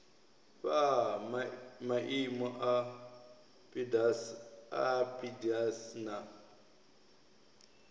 fhaa maimo a pdas na